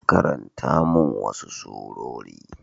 Karanta min wasu surori.